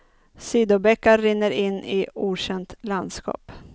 Sidobäckar rinner in i okänt landskap.